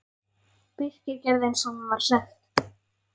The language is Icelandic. Birkir gerði eins og honum var sagt.